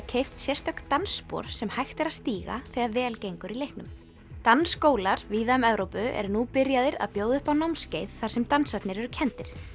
keypt sérstök dansspor sem hægt er að stíga þegar vel gengur í leiknum dansskólar víða um Evrópu eru nú byrjaðir að bjóða upp á námskeið þar sem dansarnir eru kenndir